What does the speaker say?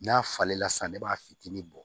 N'a falen la sa ne b'a fitinin bɔ